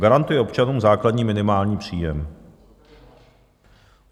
Garantuje občanům základní minimální příjem.